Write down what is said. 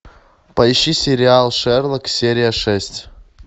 поищи сериал шерлок серия шесть